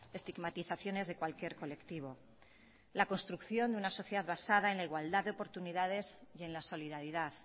estigmatizaciones de cualquier colectivo la construcción de una sociedad basada en la igualdad de oportunidades y en la solidaridad